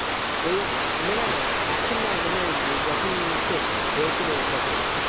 ওই না না এখন না মানে যখন হয়েছিল তখন